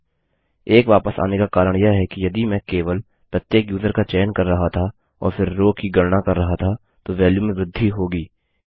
1 वापस आने का कारण यह है कि यदि मैं केवल प्रत्येक यूजर का चयन कर रहा था और फिर रो की गणना कर रहा था तो वेल्यू में वृद्धि होगी